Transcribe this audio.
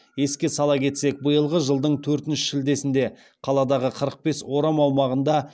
еске сала кетсек биылғы жылдың төртінші шілдесінде қаладағы қырық бес орам аумағында